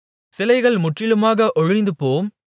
சிலைகள் முற்றிலுமாக ஒழிந்துபோம்